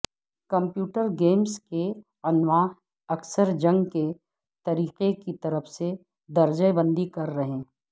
computer games کے انواع اکثر جنگ کے طریقہ کی طرف سے درجہ بندی کر رہے